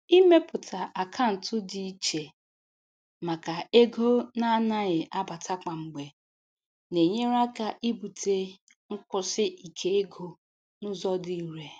Ịmepụta akaụntụ dị iche maka ego na-anaghị abata kwa mgbe na-enyere aka ibute nkwụsi ike ego n'ụzọ dị irè.